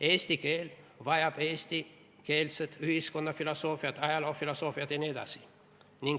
Eesti keel vajab eestikeelset ühiskonnafilosoofiat, ajaloofilosoofiat jne.